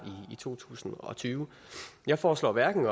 i to tusind og tyve jeg foreslår hverken